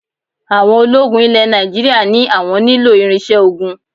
Àwọn ológun ilẹ̀ Nàìjíríà ní àwọn nílò irinṣẹ́ ogun